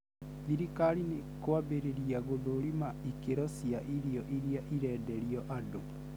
Thirikari nĩikwambĩrĩria gũthũrima ikĩro cia irio irĩa irenderio andũ